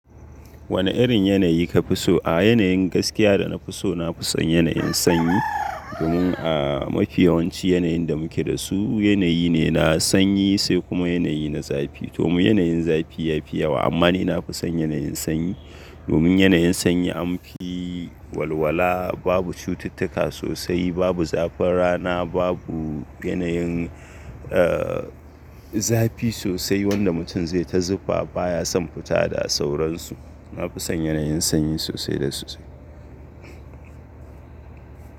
Wane irin yanayi ka fi so? A yanayin gaskiya da na fi so, na fi son yanayin sanyi. Domin a mafiyawanci yanayin da muke da su yanayi ne na sanyi sai kuma yanayi na zafi. Domin yanayin zafi ya fi yawa. Amma ni na fi son yanayin sanyi. Domin yanayin sanyi an fi walwala babu cututtuka sosai, babu zafin rana, babu yanayin, zafi sosai wanda mutum zai ta zufa baya son fita da sauransu. Na fi son yanayin sanyi sosai da sosai.